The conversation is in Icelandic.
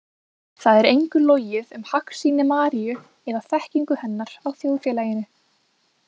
Það er engu logið um hagsýni Maríu eða þekkingu hennar á þjóðfélaginu.